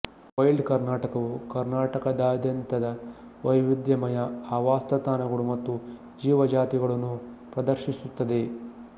wild ಕರ್ನಾಟಕವು ಕರ್ನಾಟಕದಾದ್ಯಂತದ ವೈವಿಧ್ಯಮಯ ಆವಾಸಸ್ಥಾನಗಳು ಮತ್ತು ಜೀವಜಾತಿಗಳನ್ನು ಪ್ರದರ್ಶಿಸುತ್ತದೆ